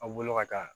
Aw bolo ka taa